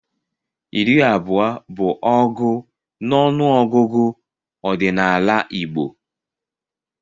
Iri abụọ bụ ọgụ n'ọnụọgụgụ ọdịnala Igbo.